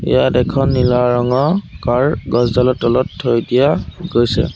ইয়াত এখন নীলা ৰঙৰ কাৰ গছ ডালৰ তলত থৈ দিয়া হৈছে।